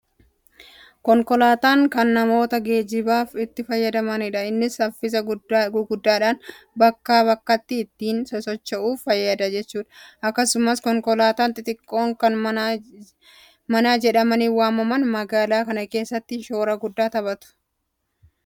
Konkolaataan kan namootti geenibaaf itti fayyadamanidha. Innis saffisa guggaadhaan bakkaa bakkatti ittiin socho'uuf fayyada jechuudha. Akkasumas konkolaattonni xixiqqoon kan manaa jedhamanii waamaman magaalaa keessatti shoora guddaa taphatu. Saffisa guddaa qabu jedhamee waan amanamuuf namoota biratti filatamoodha. Yeroo ittiin deemtan maaltu isinitti dhagahama?